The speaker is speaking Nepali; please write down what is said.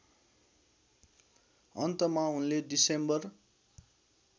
अन्तमा उनले डिसेम्बर